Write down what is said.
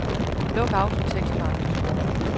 Luk autotekst for andre sprog.